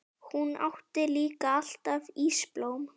Hún átti líka alltaf ísblóm.